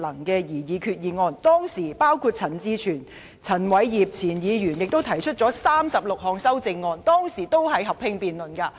當時，陳志全議員和前議員陳偉業就決議案提出36項修正案，而本會就此進行合併辯論。